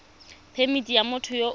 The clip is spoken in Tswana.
phemithi ya motho yo o